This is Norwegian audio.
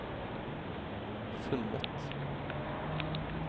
funnet